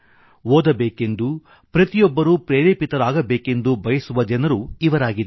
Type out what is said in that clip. ಓದಬೇಕೆಂದು ಪ್ರತಿಯೊಬ್ಬರೂ ಪ್ರೇರೇಪಿತರಾಗಬೇಕೆಂದು ಬಯಸುವ ಜನರು ಇವರಾಗಿದ್ದಾರೆ